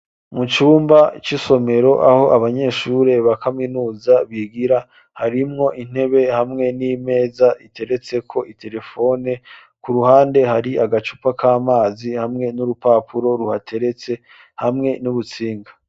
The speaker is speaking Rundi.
Mu cumba c'isomero aho abanyeshure bakaminuza bigira harimwo intebe hamwe n'imeza iteretse ko iterefone ku ruhande hari agacupa k'amazi hamwe n'urupapuro ruhateretse hamwe n'ubutsinga.